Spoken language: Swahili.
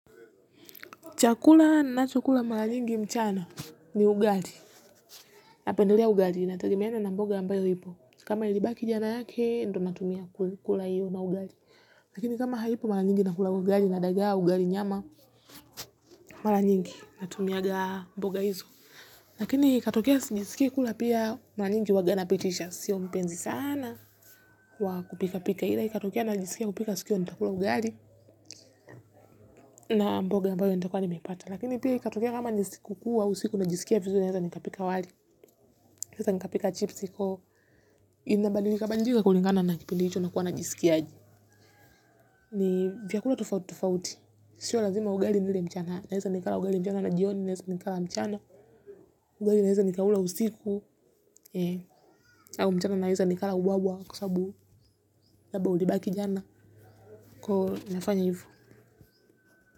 Chakula nachokula mara nyingi mchana ni ugali. Napendelea ugali inategemeana na mboga ambayo ipo. Kama ilibaki jana yake, ndo natumia kula iyo na ugali. Lakini kama haipo mara nyingi nakula ugali na dagaa ugali nyama, mara nyingi natumiaga mboga hizo. Lakini katokea sijisikii kula pia mara nyingi huwaga napitisha. Sio mpenzi sana wa kupika pika ila. Katokea najisikia kupika siku hiyo nitakula ugali na mboga ambayo nitakuwa nimepata. Lakini pia ikatokea kama ni siku kuu, au siku najisikia vitu hizo, naeza nikapika wali. Nikaeza nikapika chipsi kwa hiyo. Inabadilika badilika kulingana na kipindi hicho nakuwa najisikia aje. Ni vyakula tofauti, tofauti. Sio lazima ugali nile mchana. Naeza nikala ugali mchana na jioni naeza nikala mchana. Ugali naweza nikaula usiku. Au mchana naeza nikala wabwa kwa sababu. Labda ulibaki jana. Kwa hiyo nafanya hivo.